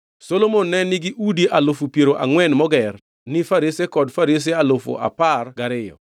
Solomon ne nigi udi alufu piero angʼwen moger ni Farese kod Farese alufu apar gariyo.